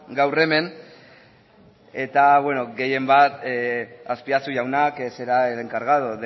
gaur hemen eta gehien bat azpiazu jauna que será el encargado